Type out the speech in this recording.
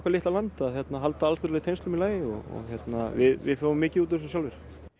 litla land að halda alþjóðlegum tengslum í lagi og við fáum mikið út úr þessu sjálfir